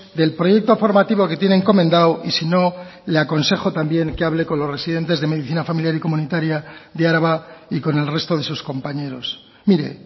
del proyecto formativo que tiene encomendado y si no le aconsejo también que hable con los residentes de medicina familiar y comunitaria de araba y con el resto de sus compañeros mire